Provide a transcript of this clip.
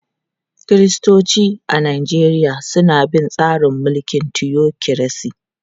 Kiristoci a Najeriya suna bin tsarin mulkin tiyokiresi.